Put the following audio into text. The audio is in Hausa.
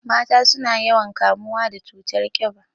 Mata suna yawan kamuwa da cutar ƙiba